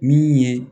Min ye